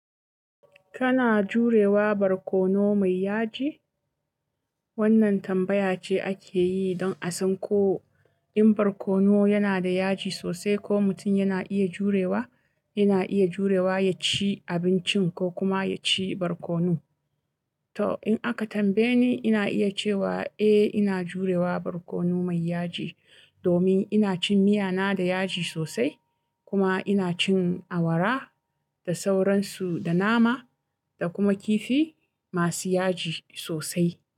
Kana jurewa barkono mai yaji? Wannan tambaya ce ake yi don a san ko in barkono yana da yaji sosai, ko mutum yana iya jurewa, yana iya jurewa ya ci abincin ko kuma ya ci barkono. To in aka tambaye ni, ina iya cewa eh ina jurewa barkono mai yaji. Domin ina cin miya na da yaji sosai kuma ina cin awara da sauransu, da nama da kuma kifi masu yaji sosai.